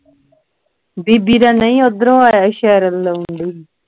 ਬੀਬੀ ਦਾ ਨਹੀਂ ਉਧਰੋਂ ਆਇਆ ਸੀ ਸ਼ਹਿਰ ਵੱਲੋਂ ਲਾਉਣ ਡਈ ਸੀ